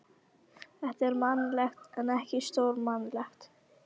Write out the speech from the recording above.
Þetta er mannlegt en ekki stórmannlegt.